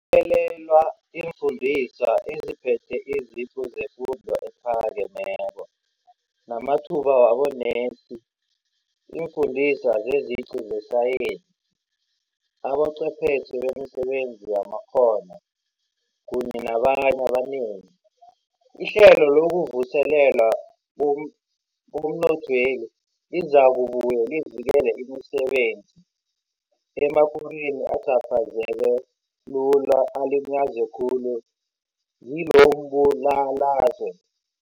lele lwa iimfundiswa eziphethe iziqu zefundo ephakemeko, namathuba wabonesi, iimfundiswa zeziqu zesayensi, abochwephetjhe bemisebenzi yamakghono kunye nabanye abanengi. Ihlelo lokuvuselelwa komnothweli lizakubuye livikele imisebenzi emakorweni acaphazeka lula alinyazwe khulu ngilombulalazwe.